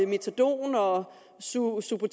metadon og subutex og